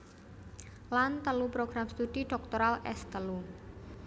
Lan telu program studi dhoktoral S telu